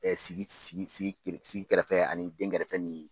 Ɛ sigi sigi kɛrɛfɛ ani dɛnkɛrɛfɛ ni